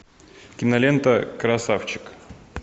кинолента красавчик